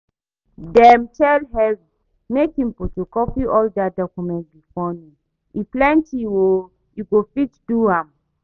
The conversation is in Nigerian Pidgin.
Dem tell Henry make im photocopy all dat documents before noon, e plenty oo. E go fit do am?